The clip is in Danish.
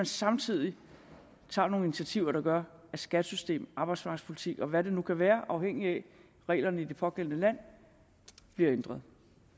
samtidig tager nogle initiativer der gør at skattesystem arbejdsmarkedspolitik og hvad det nu kan være afhængigt af reglerne i det pågældende land bliver ændret